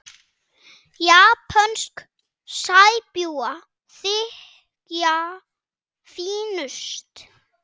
Japönsk sæbjúgu þykja fínust.